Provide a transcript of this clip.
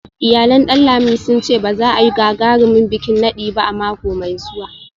Iyalan Danlami sun ce ba za a yi wani gagarumin bikin nadi ba a mako mai zuwa